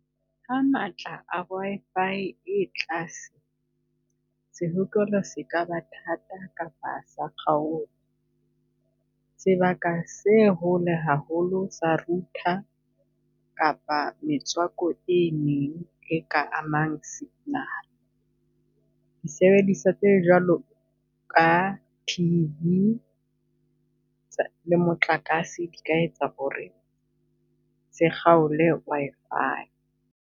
Ha matla a Wi-Fi e tlase, sehokelo se ka ba thata kapa sa kgaoha. Sebaka se hole haholo sa router kapa metswako e meng e ka amang signal. Disebediswa tse jwalo ka T_V le motlakase di ka etsa ho re se kgaole Wi-Fi.